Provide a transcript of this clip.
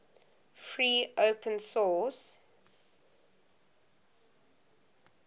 free open source